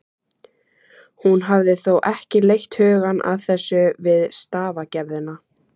Hún hafði þó ekki leitt hugann að þessu við stafagerðina.